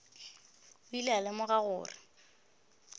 o ile a lemoga gore